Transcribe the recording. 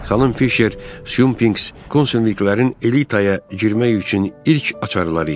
Xanım Fisher Sunpings konsulluqların elitaya girmək üçün ilk açarları idi.